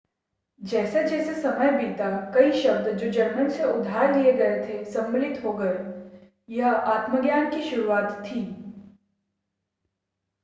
जैसे-जैसे समय बीता कई शब्द जो जर्मन से उधार लिए गए थे सम्मिलित हो गए यह आत्मज्ञान की शुरुआत थी